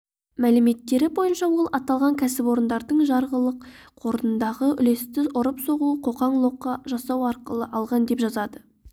мәліметтері бойынша ол аталған кәсіпорындардың жарғылық қорындағы үлесті ұрып-соғу қоқаң-лоққы жасау арқылы алған деп жазады